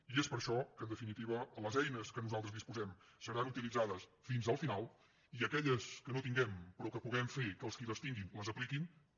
i és per això que en definitiva les eines de què nosaltres disposem seran utilitzades fins al final i aquelles que no tinguem però que puguem fer que els qui les tinguin les apliquin també